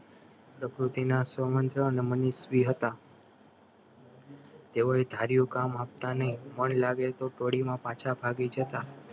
પ્રકૃતિના હતા તેઓએ ધાર્યું કામ આપતા નહીં મન લાગે તો પાછા ભાગી જતા